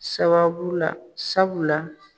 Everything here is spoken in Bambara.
Sababu la sabu la